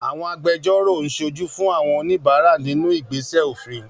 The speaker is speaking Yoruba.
Àwọn agbẹjọ́rò ń ṣojú fún àwọn oníbàárà nínú ìgbésẹ̀ òfin